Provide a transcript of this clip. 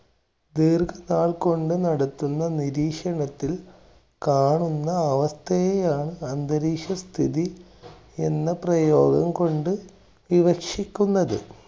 ദീർഘനാൾ കൊണ്ട് നടത്തുന്ന നിരീക്ഷണത്തിൽ കാണുന്ന അവസ്ഥയെയാണ് അന്തരീക്ഷസ്ഥിതി എന്ന പ്രയോഗം കൊണ്ട് വിവക്ഷിക്കുന്നത്.